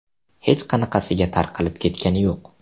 Hech qanaqasiga tarqalib ketgani yo‘q.